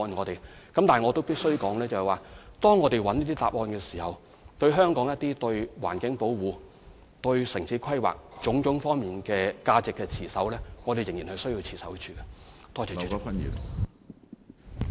但是，我必須指出，在尋求答案的過程中，對於本港有關環境保護和城市規劃等各個方面的價值，我們仍然需要持守。